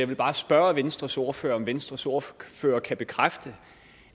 vil bare spørge venstres ordfører om venstres ordfører kan bekræfte